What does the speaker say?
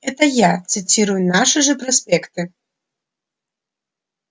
это я цитирую наши же проспекты